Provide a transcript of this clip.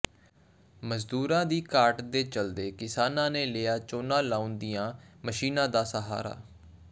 ਮਜ਼ਦੂਰਾਂ ਦੀ ਘਾਟ ਦੇ ਚਲਦੇ ਕਿਸਾਨਾਂ ਨੇ ਲਿਆ ਝੋਨਾ ਲਾਉਣ ਦੀਆਂ ਮਸ਼ੀਨਾਂ ਦਾ ਸਹਾਰਾ